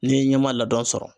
N'ye i ɲɛma ladɔn sɔrɔ.